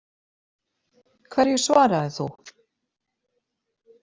Hverju svaraðir þú?